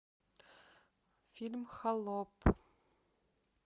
фильм холоп